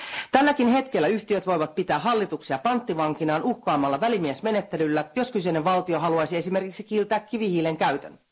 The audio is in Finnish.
Tälläkin hetkellä yhtiöt voivat pitää hallituksia panttivankinaan uhkaamalla välimiesmenettelyllä, jos kyseinen valtio haluaisi esimerkiksi kieltää kivihiilen käytön.